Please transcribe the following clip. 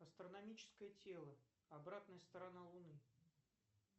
астрономическое тело обратная сторона луны